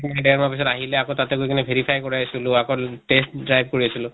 দেৰ মাহ পিছত আহিলে আকৌ তাতে গৈ কিনে verify কৰাইছিলো, আকৌ test drive কৰি আছিলো